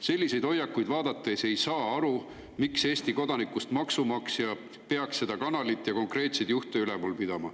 Selliseid hoiakuid vaadates ei saa aru, miks Eesti kodanikust maksumaksja peaks seda kanalit ja konkreetseid juhte üleval pidama.